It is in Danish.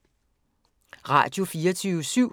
Radio24syv